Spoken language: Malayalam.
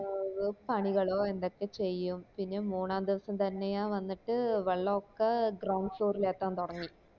ഏർ പണികളോ എന്തൊക്കെ ചെയ്യും പിന്നേം മൂന്നാം ദിവസം തന്നെയാ വന്നിട്ട് വെള്ളം ഒക്കെ ground floor ല് ഏത്തൻ തൊടങ്ങി